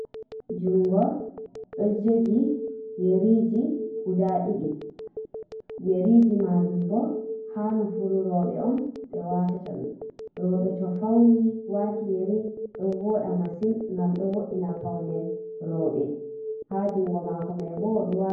jungo do jogi yeriji guda didi ,yeriji majum bo ha nofuro rewbe on be watata dum, rewbe to fauni wati yeri do voda masin ,gam do vo’ina paune rewbe ha jungo mako mai bo ....